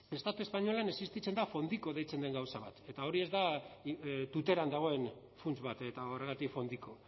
estatu espainolean existitzen da fond ico deitzen den gauza bat eta hori ez da tuteran dagoen funts bat eta horregatik fondico